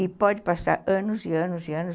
E pode passar anos e anos e anos.